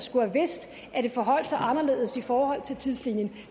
i det forholdt sig anderledes i forhold til tidslinjen